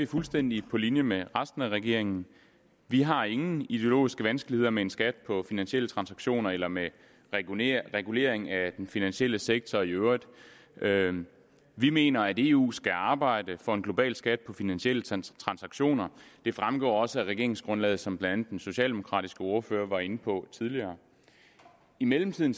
fuldstændig på linje med resten af regeringen vi har ingen ideologiske vanskeligheder med en skat på finansielle transaktioner eller med en regulering regulering af den finansielle sektor i øvrigt vi mener at eu skal arbejde for en global skat på finansielle transaktioner det fremgår også af regeringsgrundlaget som blandt andet den socialdemokratiske ordfører var inde på tidligere i mellemtiden